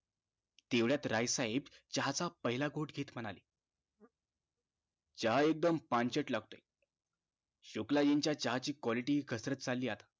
तेवढयात राय साहेब चहा च पहिला घोट घेत म्हणाले चहा एकदम पंचात लागतंय शुक्लाजीं च्या चहा ची quality घसरत चालली आता